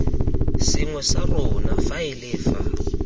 sengwe sa rona faele fa